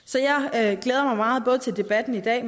jeg glæder mig meget til debatten i dag